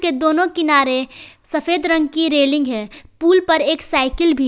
ये दोनों किनारे सफेद रंग की रेलिंग है पुल पर एक साइकिल भी है।